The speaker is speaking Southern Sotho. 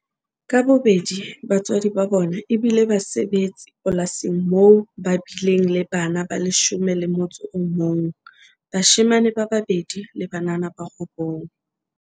Ka bobedi batswadi ba bona e bile basebetsi polasing mmo ba bileng le bana ba leshome le motso o mong - bashemane ba babedi le banana ba robong.